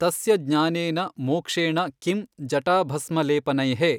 ತಸ್ಯ ಜ್ಞಾನೇನ ಮೋಕ್ಷೇಣ ಕಿಂ ಜಟಾಭಸ್ಮಲೇಪನೈಃ।